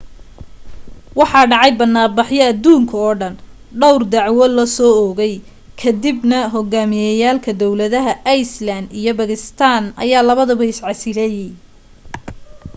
waxaa dhacay banaan baxyo aduunka oo dhan dhawr dacwo la soo oogay ka dib na hogaamiyeyaalka dawladaha iceland iyo bakistan ayaa labadaba is casilay